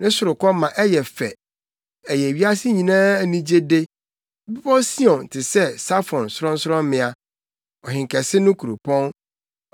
Ne sorokɔ ma ɛyɛ fɛ, ɛyɛ wiase nyinaa anigyede. Bepɔw Sion te sɛ Safon sorɔnsorɔmmea, Ɔhenkɛse no kuropɔn.